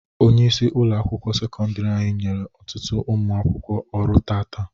Onyeisi ụlọ akwụkwọ sekọndiri anyị nyere ọtụtụ ụmụ akwụkwọ ọrụ taata.